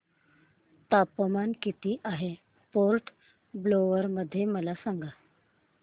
तापमान किती आहे पोर्ट ब्लेअर मध्ये मला सांगा